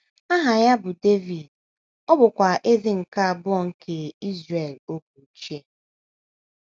Aha ya bụ Devid, ọ bụkwa eze nke abụọ nke Izrel oge ochie.